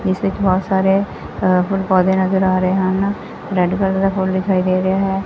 ਇਸ ਵਿੱਚ ਬਹੁਤ ਸਾਰੇ ਅ ਫੁੱਲ ਪੌਧੇ ਨਜ਼ਰ ਆ ਰਹੇ ਹਨ ਰੈਡ ਕਲਰ ਦਾ ਫੁੱਲ ਦਿਖਾਈ ਦੇ ਰਿਹਾ ਹੈ।